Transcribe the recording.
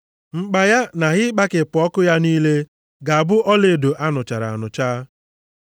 Mkpa ya na ihe ịkpakepụ ọkụ ya niile, ga-abụ ọlaedo a nụchara anụcha.